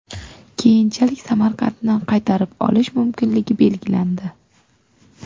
Keyinchalik Samarqandni qaytarib olish mumkinligi belgilandi.